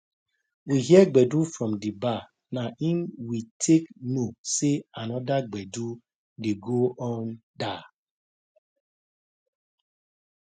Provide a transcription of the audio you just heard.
we hear gbedu from d bar na im we take know say another gbedu de go on der